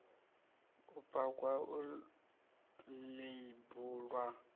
u pakwa u ḽeibu ḽwa